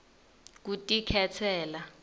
kutikhetsela